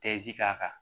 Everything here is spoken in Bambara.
k'a kan